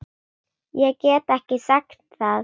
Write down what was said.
Ég get ekki sagt það.